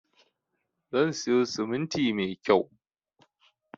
Zan siyo siminti mai kyau